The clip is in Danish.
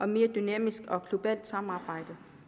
mere dynamisk og globalt samarbejde